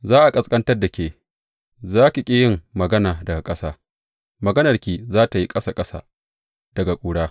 Za a ƙasƙantar da ke, za ki ƙi yin magana daga ƙasa; maganarki za tă yi ƙasa ƙasa daga ƙura.